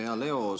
Hea Leo!